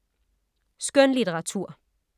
Skønlitteratur